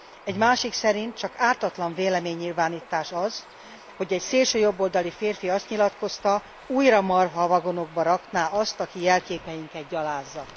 Egy másik szerint, csak ártatlan véleménynyilvánítás az, hogy egy szélsőjobboldali férfi azt nyilatkozta, hogy újra marhavagonokba rakná azt, aki jelképeinket gyalázza.